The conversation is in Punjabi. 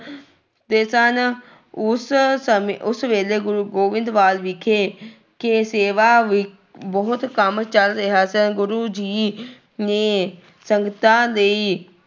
ਦੇ ਸਨ, ਉਸ ਸਮੇਂ ਉਸ ਵੇਲੇ ਗੁਰੂ ਗੋਬਿੰਦਵਾਲ ਵਿਖੇ ਖੇ ਸੇਵਾ ਵੀ ਬਹੁਤ ਕੰਮ ਚੱਲ ਰਿਹਾ ਸੀ ਗੁਰੂ ਜੀ ਨੇ ਸੰਗਤਾਂ ਲਈ